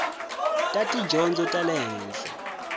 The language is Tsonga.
ta tidyondzo ta le henhla